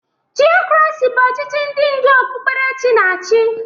Tiokrasị bụ ọchichị ndị ndu okpukperechi na-achị.